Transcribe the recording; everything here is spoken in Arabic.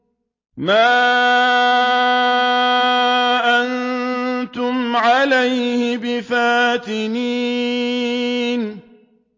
مَا أَنتُمْ عَلَيْهِ بِفَاتِنِينَ